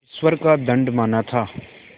ईश्वर का दंड माना था